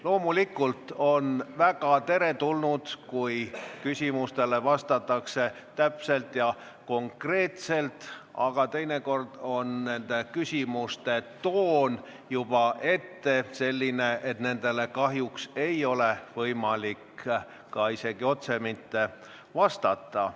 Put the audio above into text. Loomulikult on väga teretulnud, kui küsimustele vastatakse täpselt ja konkreetselt, aga teinekord on küsimuste toon selline, et nendele kahjuks ei ole võimalik otse vastata.